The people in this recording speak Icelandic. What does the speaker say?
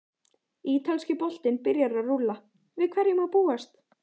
Ítalski boltinn byrjar að rúlla- Við hverju má búast?